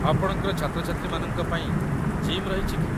ଆପଣଙ୍କର ଛାତ୍ରଛାତ୍ରୀମାନଙ୍କ ପାଇଁ ଜିମ୍ ରହିଛି କି?